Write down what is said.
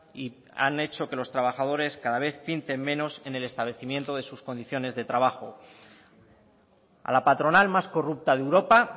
y han hecho que los trabajadores cada vez pinten menos en el establecimiento de sus condiciones de trabajo a la patronal más corrupta de europa